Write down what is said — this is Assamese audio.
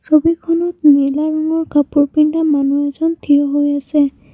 ছবিখনত নীলা ৰঙৰ কাপোৰ পিন্ধা মানুহ এজন থিয় হৈ আছে।